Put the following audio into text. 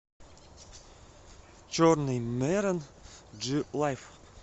черный мерен джи лайф